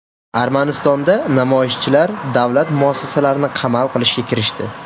Armanistonda namoyishchilar davlat muassasalarini qamal qilishga kirishdi.